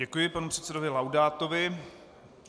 Děkuji panu předsedovi Laudátovi.